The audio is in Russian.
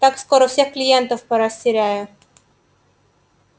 так скоро всех клиентов порастеряю